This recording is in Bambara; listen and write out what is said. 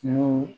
Kungo